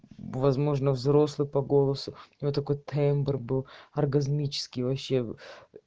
возможно взрослый по голосу я такой тембр был оргазмический вообще